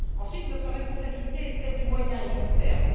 Ensuite, notre responsabilité est celle du moyen et long terme.